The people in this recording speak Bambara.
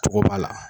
Cogo b'a la